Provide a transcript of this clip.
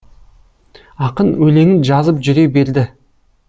ақын өлеңін жазып жүре берді